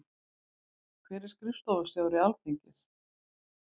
Hver er skrifstofustjóri Alþingis?